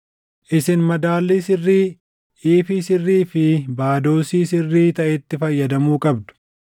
Isin madaalii sirrii, iifii sirrii fi baadoosii + 45:10 Baadoosiin tokko liitiroo 40. sirrii taʼetti fayyadamuu qabdu.